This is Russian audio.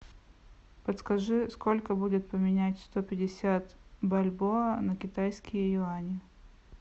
подскажи сколько будет поменять сто пятьдесят бальбоа на китайские юани